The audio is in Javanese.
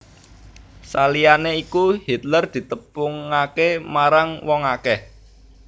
Saliyané iku Hitler ditepungaké marang wong akèh